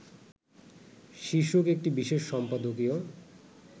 শীর্ষক একটি বিশেষ সম্পাদকীয়